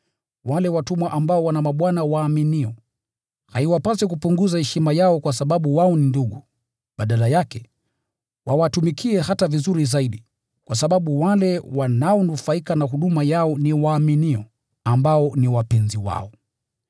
Wale watumwa ambao wana mabwana waaminio, haiwapasi kupunguza heshima yao kwa sababu wao ni ndugu. Badala yake, wawatumikie hata vizuri zaidi, kwa sababu wale wanaonufaika na huduma yao ni waaminio, ambao ni wapenzi wao. Fundisha mambo haya na uwahimize kuyafuata.